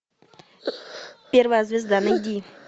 первая звезда найди